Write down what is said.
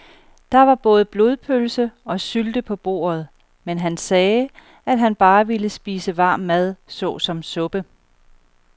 Der var både blodpølse og sylte på bordet, men han sagde, at han bare ville spise varm mad såsom suppe.